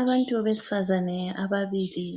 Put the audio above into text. Abantu besifazane ababili,